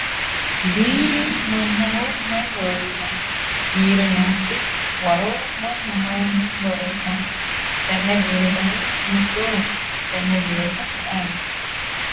biire mannaho mayi horo uyiitanno? biire nookki waro mannu mayiinni borreessanno? tenne biire dani hiittooho? tenne biire su'mi ayeeti ?